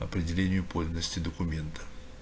определение подлинности документа